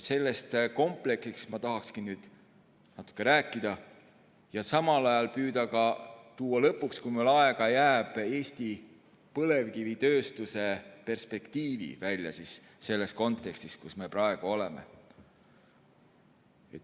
Sellest kompleksist ma tahakski nüüd natuke rääkida ja püüda tuua lõpuks, kui aega jääb, välja Eesti põlevkivitööstuse perspektiivi, selles kontekstis, kus me praegu oleme.